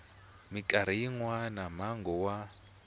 mikarhi yin wana mongo wa